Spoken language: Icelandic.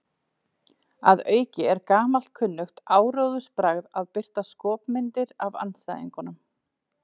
Að auki er gamalkunnugt áróðursbragð að birta skopmyndir af andstæðingnum.